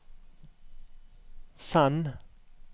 send